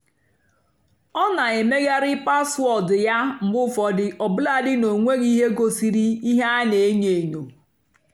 ọ́ nà-èmèghàrị́ páswóọ̀dụ́ yá mgbe ụ́fọ̀dụ́ ọ́bụ́làdì ná ọ́ nwèghị́ íhé gosírì íhé á nà-ènyó ènyó.